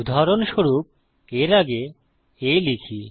উদাহরণস্বরূপ এর আগে a লিখি